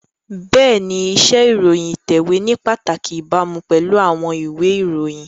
Bẹ́ẹ̀ni, iṣẹ́ ìròyìn ìtẹ̀wé ní pàtàkì ìbámu pẹ̀lú àwọn ìwé ìròyìn